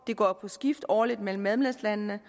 går på skift årligt mellem medlemslandene